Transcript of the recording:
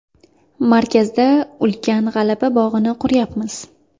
Markazda ulkan G‘alaba bog‘ini quryapmiz.